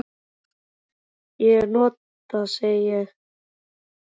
Hvaða orð ég nota, ég segi.